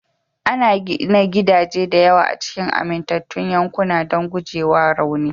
Ana gina gidaje da yawa a cikin amintattun yankuna don gujewa rauni